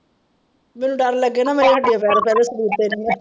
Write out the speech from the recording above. ਮੈਨੂੰ ਡਰ ਲੱਗੇ ਨਾ ਮੇਰੇ ਹੱਡੀਆਂ ਪੈਰ ਪਹਿਲਾਂ ਈ,